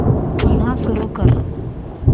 पुन्हा सुरू कर